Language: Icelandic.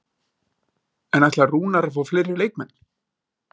En ætlar Rúnar að fá fleiri leikmenn?